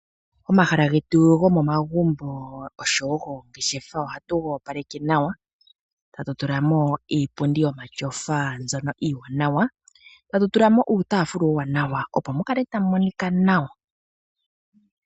Omahala getu gomomagumbo oshowo goongeshefa ohatu ga opaleke nawa etatu tulamo iipundi yomatyofa mbyono iiwanawa etatu tulamo uutaafula uuwanawa opo mu kale tamu monika nawa.